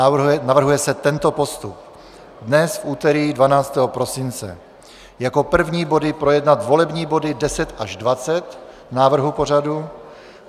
A navrhuje se tento postup: Dnes, v úterý 12. prosince, jako první body projednat volební body 10 až 20 návrhu pořadu.